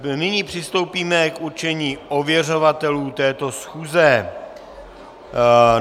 Nyní přistoupíme k určení ověřovatelů této schůze.